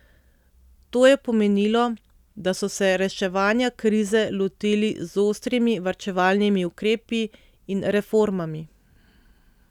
To je pomenilo, da so se reševanja krize lotili z ostrimi varčevalni ukrepi in reformami.